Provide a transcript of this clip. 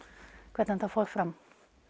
hvernig þetta fór fram